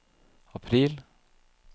april